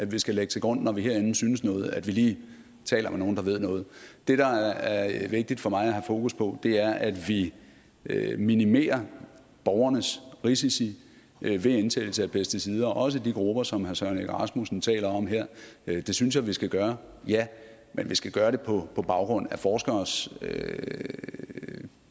vi skal lægge til grund når vi herinde synes noget altså at vi lige taler med nogle der ved noget det der er vigtigt for mig at have fokus på er at vi minimerer borgernes risici ved indtagelse af pesticider også for de grupper som herre søren egge rasmussen taler om her det synes jeg vi skal gøre ja men vi skal gøre det på baggrund af forskeres